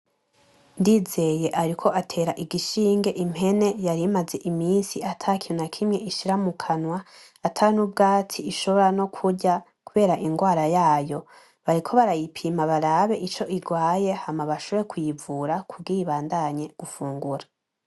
Ndizeye ariko atera igishinge impene yari imaze iminsi atakintu nakimwe ishira mukanwa. Atanubwatsi ishobora nokurya kubera ingwara yayo. Bariko barayipima barabe ico irwaye hama bashobore kuyivura, kugira ibandanye gufungura.